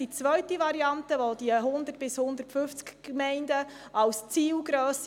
Die zweite Variante schlägt die Zielgrösse von 100 bis 150 Gemeinden vor.